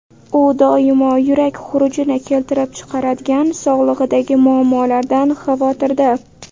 U doimo yurak xurujini keltirib chiqaradigan sog‘lig‘idagi muammolardan xavotirda.